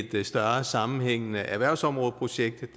et større sammenhængende erhvervsområdeprojekt